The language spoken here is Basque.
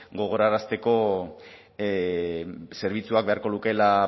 gogorarazteko zerbitzuak beharko lukeela